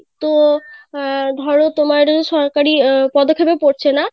তো আহ ধরো তোমার সরকারি পদক্ষেপে পড়ছে না